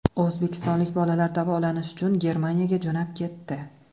O‘zbekistonlik bolalar davolanish uchun Germaniyaga jo‘nab ketdi.